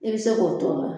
I bɛ se k'o tɔ la